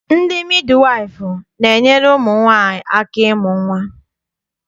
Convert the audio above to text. Ndị midiwaịfụ na-enyere ụmụ nwaanyị aka ịmụ nnwa.